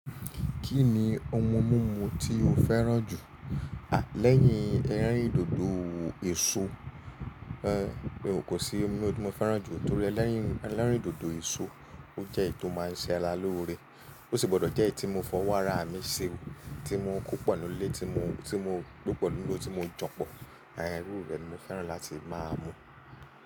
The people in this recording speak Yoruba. Kí ni ohun mímu tí o fẹ́ràn jù? À lẹ́yìn ẹrin ìdodo èso, ẹ, ò kò sí omi ọdún mo fẹ́ràn jù torí ẹlẹ́rìn, ẹlẹ́rìn dodo èso ó jẹ́ èyí tó máa ń ṣe alálòore. Ó sì gbọdọ̀ jẹ́ èyí tí mo fọwọ́ ara mi ṣe, tí mo kú pẹ̀lú lé, tí mo, tí mo gbó pẹ̀lú lé, tí mo jọ̀pọ̀. Àà irú rẹ̀ ni mo fẹ́ràn láti máa mu.